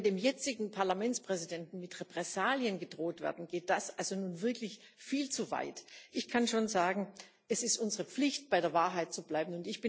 Wenn dem jetzigen Parlamentspräsidenten mit Repressalien gedroht wird, geht das also wirklich viel zu weit. Ich kann schon sagen Es ist unsere Pflicht, bei der Wahrheit zu bleiben.